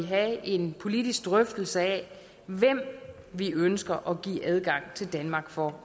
have en politisk drøftelse af hvem vi ønsker at give adgang til danmark for